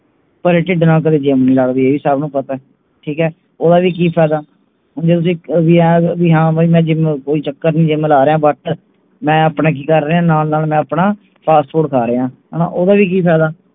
ਭਰੇ ਢਿੱਡ ਨਾਲ ਕਦੇ gym ਨਹੀਂ ਲਗਦੀ ਇਹ ਸਭ ਨੂੰ ਪਤੇ ਠੀਕ ਹੈ ਓਹਦਾ ਵੀ ਕਿ ਫਾਇਦਾ ਵੀ ਤੁਸੀਂ ਵੀ ਹਾਂ ਮੈਂ gym ਕੋਈ ਚੱਕਰ ਨਹੀਂ gym ਲਾ ਰਿਹੇ but ਮੈਂ ਆਪਣਾ ਕਿ ਕਰ ਰਿਹੇ ਨਾਲ ਨਾਲ ਮੈਂ ਆਪਣਾ fast food ਖਾ ਰਿਹੇ ਹਣਾ ਓਹਦਾ ਵੀ ਕਿ ਫਾਇਦਾ